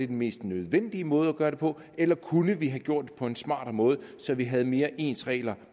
den mest nødvendige måde at gøre det på eller kunne vi have gjort det på en smartere måde så vi havde mere ens regler